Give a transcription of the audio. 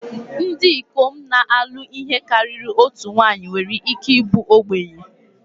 Ndị ikom na-alụ ihe karịrị otu nwanyị nwere ike ịbụ ogbenye